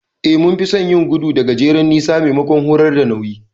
Eh, mun fi son yin gudu da gajeren nisa maimakon horar da nauyi.